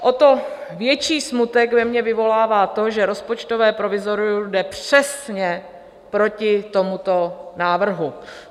O to větší smutek ve mně vyvolává to, že rozpočtové provizorium jde přesně proti tomuto návrhu.